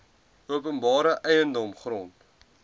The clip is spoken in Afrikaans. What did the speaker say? openbare eiendom grond